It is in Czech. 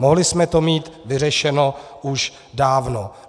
Mohli jsme to mít vyřešeno už dávno.